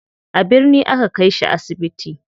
A birni aka kai shi asibiti.